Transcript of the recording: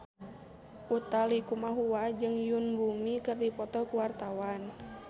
Utha Likumahua jeung Yoon Bomi keur dipoto ku wartawan